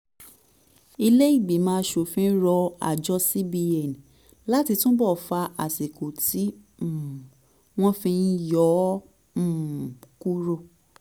ilé ìgbìmọ̀ aṣòfin rọ àjọ cbn láti túbọ̀ fa àsìkò tí um wọ́n fi ń yọ̀ um kúrò